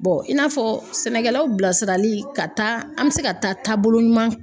i n'a fɔ sɛnɛkɛlaw bilasirali ka taa an bɛ se ka taa taabolo ɲuman